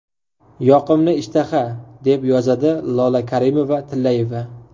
Yoqimli ishtaha!”, deb yozadi Lola Karimova-Tillayeva.